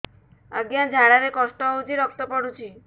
ଅଜ୍ଞା ଝାଡା ରେ କଷ୍ଟ ହଉଚି ରକ୍ତ ପଡୁଛି